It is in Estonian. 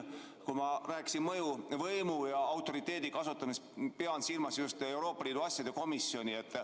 Kui ma rääkisin mõjuvõimu ja autoriteedi kasutamisest, siis ma pidasin silmas just Euroopa Liidu asjade komisjoni.